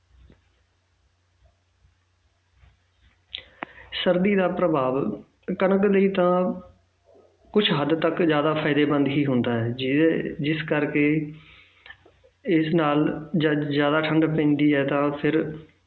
ਸਰਦੀ ਦਾ ਪ੍ਰਭਾਵ ਕਣਕ ਦੀ ਤਾਂ ਕੁਛ ਹੱਦ ਤੱਕ ਜ਼ਿਆਦਾ ਫ਼ਾਇਦੇਮੰਦ ਹੀ ਹੁੰਦਾ ਹੈ ਜਿਹਦੇ ਜਿਸ ਕਰਕੇ ਇਸ ਨਾਲ ਜ~ ਜ਼ਿਆਦਾ ਠੰਢ ਪੈਂਦੀ ਹੈ ਤਾਂ ਫਿਰ